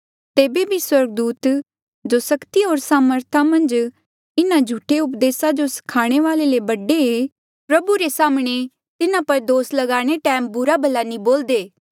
तेबे बी स्वर्गदूत जो सक्ति होर सामर्था मन्झ इन्हा झूठे उपदेसा जो स्खाणे वाले ले बडे ऐें प्रभु रे साम्हणें तिन्हा पर दोस ल्गांदे टैम बुरा भला नी बोलदे